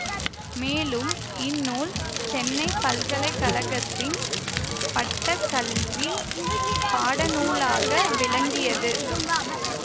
மேலும் இந்நூல் சென்னை பல்கலை கழகத்தின் பட்டக்கல்விப் பாடநூலாக விளங்கியது